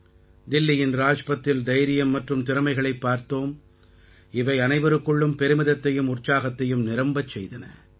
தில்லியின் ராஜ்பத்தில் தைரியம் மற்றும் திறமைகளைப் பார்த்தோம் இவை அனைவருக்குள்ளும் பெருமிதத்தையும் உற்சாகத்தையும் நிரம்பச் செய்தன